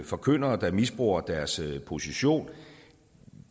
forkyndere der misbruger deres position